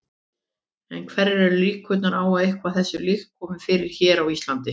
En hverjar eru líkurnar á að eitthvað þessu líkt komi fyrir hér á Íslandi?